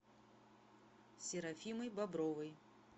серафимой бобровой